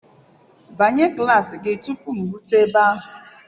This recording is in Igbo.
Banye klaasị gị tupu m erute ebe ahụ.